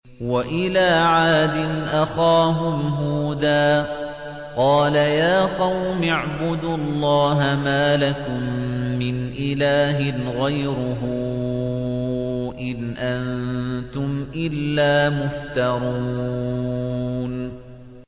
وَإِلَىٰ عَادٍ أَخَاهُمْ هُودًا ۚ قَالَ يَا قَوْمِ اعْبُدُوا اللَّهَ مَا لَكُم مِّنْ إِلَٰهٍ غَيْرُهُ ۖ إِنْ أَنتُمْ إِلَّا مُفْتَرُونَ